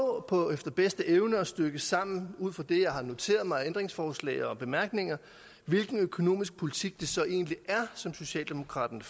efter bedste evne at stykke sammen ud fra det jeg har noteret mig af ændringsforslag og bemærkninger hvilken økonomisk politik det så egentlig er som socialdemokraterne